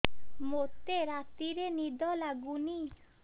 ମୋତେ ରାତିରେ ନିଦ ଲାଗୁନି